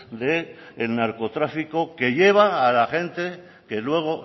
del narcotráfico que lleva a la gente que luego